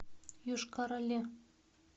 йошкар оле